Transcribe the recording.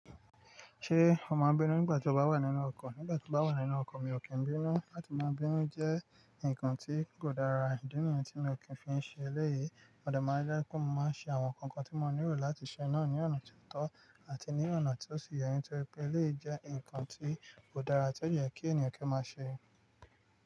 Ṣé o máa ń bínú nígbà tí o bá wà nínú ọkọ̀? Nígbà tí mo bá wà nínú ọkọ̀ mi ò kí ń bínú, láti máa bínú jẹ́ nǹkan tí kò dára, ìdi niyen tí mi ò kí ń fi ṣe eléyìí. Modẹ máa ń je pe mo máa ń ṣe àwọn nnkan kan tí mo nílò láti ṣe náà ní ọ̀nà tó tọ́ àti ní ọ̀nà tí ó sì yẹ ní torí pé eléyìí jẹ́ ǹkan tí ò dára tí ó yẹ kí ènìyàn kí ó máa ṣe.